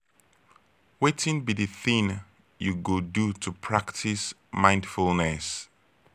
wetin be di thing you go do to practice mindfulness?